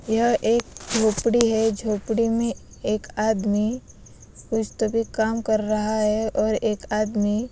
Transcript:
यह एक झोपड़ी है झोपड़ी में एक आदमी कुछ तो अभी काम कर रहा है और एक आदमी--